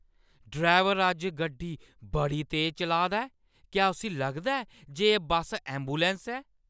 Driver अज्ज गड्डी बड़ी तेज चलाऽ दा ऐ। क्या उस्सी लगदा ऐ जे एह् बस्स ऐंबुलैंस ऐ?